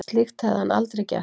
Slíkt hefði hann aldrei gert